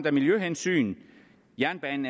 af miljøhensyn jernbanen